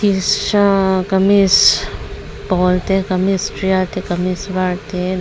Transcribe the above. kamis pawl te kamis tial te kamis var te leh --